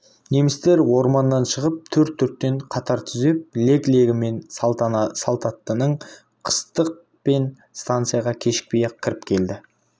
немістер орманнан шығып төрт-төрттен қатар түзеп лек-легімен салтанаттанып қыстақ пен станцияға кешікпей-ақ кіріп келді